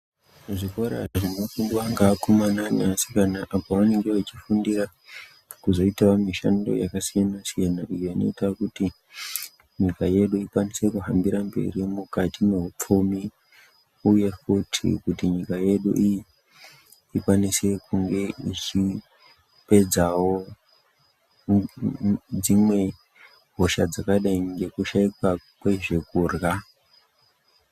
Zvikora zvinofundwa ngevakomana nevasikana apo vanenge vachifundira kuzoitawo mishando yakasiyana-siyana iyo inoita kuti nyiKa yedu ikwanise kuhambira mberi mune zveupfumi uye futi nyika yedu ikwanise kunge ichipedzawo dzimwe hosha dzakadai ngedzekushaikwa kwezve kurya.